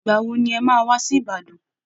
Ìgbà wo ni ẹ máa wá sí Ìbàdàn